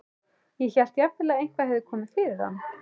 Ég hélt jafnvel að eitthvað hefði komið fyrir hann.